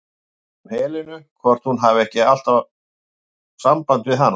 Ég spyr um Helenu, hvort hún hafi ekki alltaf samband við hana?